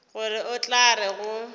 gore o tla re go